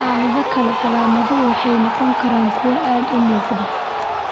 Xaalado kale, calaamaduhu waxay noqon karaan kuwo aad u muuqda.